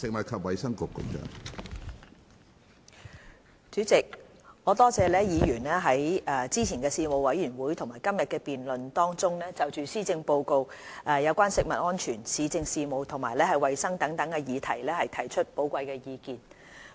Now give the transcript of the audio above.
主席，我多謝議員在之前的事務委員會和今天的辯論中，就施政報告有關食物安全、市政事務和衞生等議題提出的寶貴意見。